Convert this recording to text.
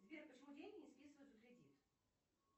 сбер почему деньги не списывают за кредит